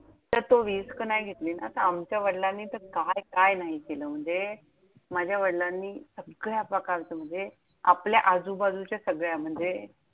त्यात तू risk घेतली ना तर आमच्या वडलांनी तर काय काय नाही केलं! म्हणजे माझ्या वडलांनी सगळ्या प्रकारचं म्हणजे आपल्या आजूबाजूच्या सगळ्या म्हणजे